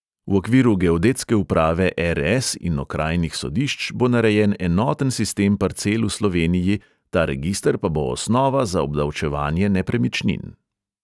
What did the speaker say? V okviru geodetske uprave er|es in okrajnih sodišč bo narejen enoten sistem parcel v sloveniji, ta register pa bo osnova za obdavčevanje nepremičnin.